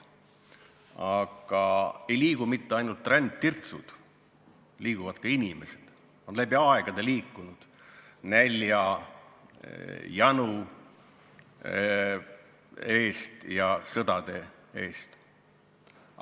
Aga ei liigu mitte ainult rändtirtsud, liiguvad ka inimesed, on läbi aegade liikunud, nälja, janu ja sõdade eest.